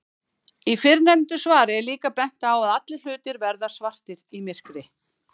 Í fyrrnefndu svari er líka bent á að allir hlutir verða svartir í myrkri.